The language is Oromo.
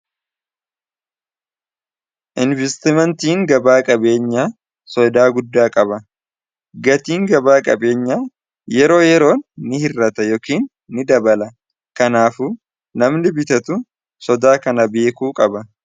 Investimentiin gabaa qabeenyaa sodaa guddaa qaba gatiin gabaa qabeenya yeroo yeroon ni hirrata yookiin ni dabala kanaaf namni bitatu sodaa kana beekuu qaba.